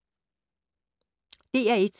DR1